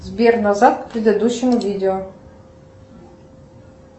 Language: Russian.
сбер назад к предыдущему видео